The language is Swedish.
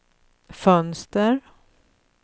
fönster